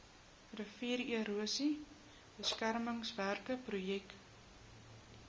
riviererosie beskermingswerke projek